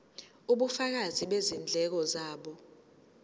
ubufakazi bezindleko zabo